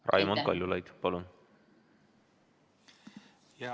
Raimond Kaljulaid, palun!